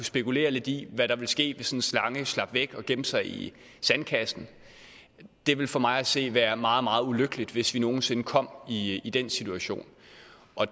spekulere lidt i hvad der ville ske hvis en slange slap væk og gemte sig i sandkassen og det ville for mig at se være meget meget ulykkeligt hvis vi nogen sinde kom i i den situation